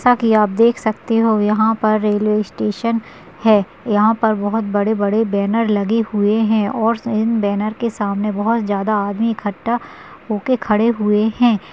ताकि आप देख सकते हो यहां पर रेलवे स्टेशन है यहां पर बहुत बड़े-बड़े बैनर लगे हुए हैं और सेन बैनर के सामने बहुत ज्यादा आदमी इकट्ठा होकर खड़े हुए हैं।